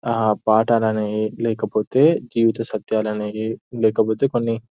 ఆ పాటలు అనేవి లేకపోత్ జీవితసత్యాలు అనేవి లేకపోతే కొన్ని--